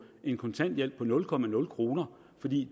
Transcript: en kontanthjælp på nul kr fordi